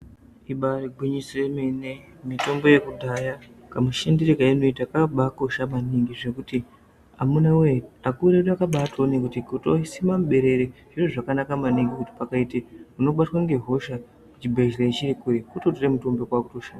Ibairi gwinyiso yemene mitombo yekudhaya ka mushandire kainoita kakabai kosha maningi zvekuti amunawe akuru edu akabai toone kuti kutoi sima muberere zviro zvakanaka maningi ngekuti pakaite unobatwa nge hosha chibhedhleya chiri kure kuto tore mitomboyo kwakuto shandisa.